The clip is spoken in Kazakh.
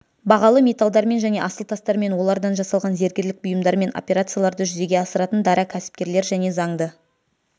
бағалы металдармен және асыл тастармен олардан жасалған зергерлік бұйымдармен операцияларды жүзеге асыратын дара кәсіпкерлер және заңды